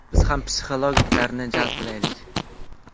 Biz ham psixologlarni jalb qilaylik.